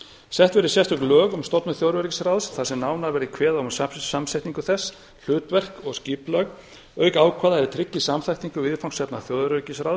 sett verði sérstök lög um stofnun þjóðaröryggisráðs þar sem nánar verði kveðið á um samsetningu þess hlutverk og skipulag auk ákvæða er tryggi samþættingu viðfangsefna stöðugleikaráðs